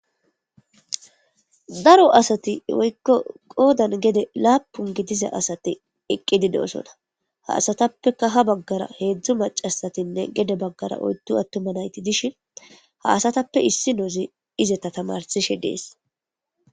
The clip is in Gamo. Daro asati woykko qoodan gede laapun gidiza asate eqqididosona ha asatappeka ha baggara heedzdzu macasatinne gede baggara oyddu attuma nayti dishin ha asatappe issi noozi izeta tamarsishe dees.